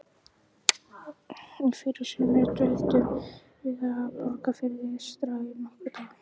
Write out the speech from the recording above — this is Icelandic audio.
Í fyrrasumar dvöldum við á Borgarfirði eystra í nokkra daga.